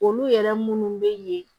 Olu yɛrɛ munnu bɛ ye